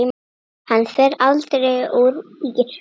Hann fer aldrei úr ÍR.